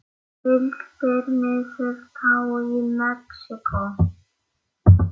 Tylltir niður tá í Mexíkó.